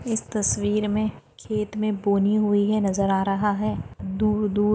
इस तस्वीर में खेत में बोनी हुई है। नजर आ रहा है। दूर दूर--